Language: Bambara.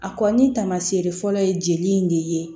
A kɔni taamasere fɔlɔ ye jeli in de ye